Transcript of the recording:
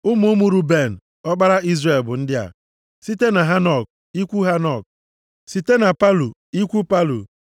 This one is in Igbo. Ụmụ ụmụ Ruben, ọkpara Izrel, bụ ndị a: site na Hanok, ikwu Hanok, site na Palu, ikwu Palu,